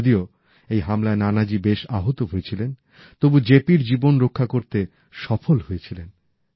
যদিও এই হামলায় নানাজী বেশ আহত হয়েছিলেন তবু তিনি জেপির জীবন রক্ষা করতে সফল হয়েছিলেন